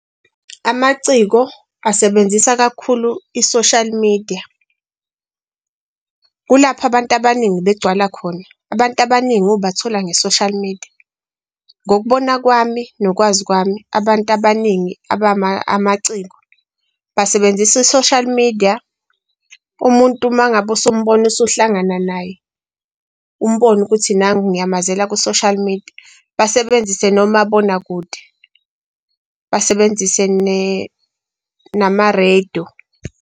Amaciko asebenzisa kakhulu i-social media kulapho abantu abaningi begcwala khona, abantu abaningi ubathola nge-social media. Ngokubona kwami nokwazi kwami abantu abaningi abama amaciko basebenzisa i-social media umuntu mangabe usumbona usuhlangana naye umbone ukuthi nangu ngiyamazela ku-social media basebenzise nomabonakude, basebenzise ne nama-radio.